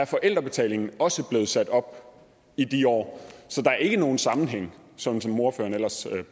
forældrebetalingen også sat op i de år så der er ikke nogen sammenhæng sådan som ordføreren ellers